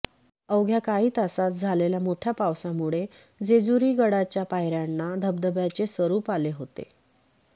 अवघ्या काही तासात झालेल्या मोठ्या पावसामुळे जेजुरी गडाच्या पायऱ्यांना धबधब्याचे स्वरुप आले होते